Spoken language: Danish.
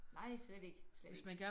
Nej slet ikke slet ikke